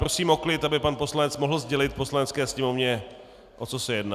Prosím o klid, aby pan poslanec mohl sdělit Poslanecké sněmovně o co se jedná.